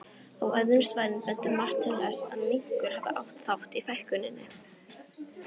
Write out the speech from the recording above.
Á öðrum svæðum bendir margt til þess að minkur hafi átt þátt í fækkuninni.